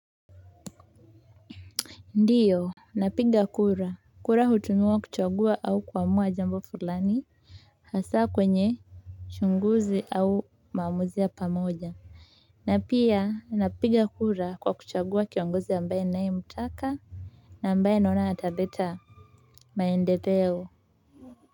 Ndiyo napiga kura kura hutumiwa kuchagua au kuamua jambo fulani hasa kwenye uchunguzi au maamuzi ya pamoja na pia napiga kura kwa kuchagua kiongozi ambaye naye mtaka na ambaye naona ataleta maendeleo.